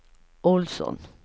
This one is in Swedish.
Ohlsson